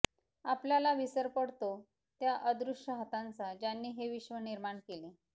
आपल्याला विसर पडतो त्या अदृश्य हातांचा ज्यांनी हे विश्व निर्माण केले